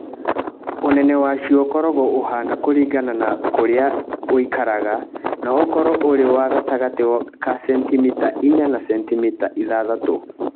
Ũnene wacio ũkoragwo ũhaana kũringana na kũrĩa ũikaraga no ũkoragwo ũrĩ wa gatagatĩ ka sentimita 4 na 6.